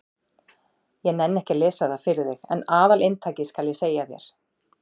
Ég nenni ekki að lesa það fyrir þig en aðalinntakið skal ég segja þér.